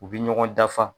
U bɛ ɲɔgɔn dafa